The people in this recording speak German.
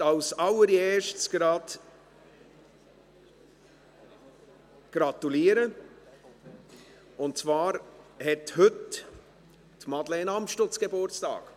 Ich möchte als Erstes gratulieren, und zwar hat heute Madeleine Amstutz Geburtstag.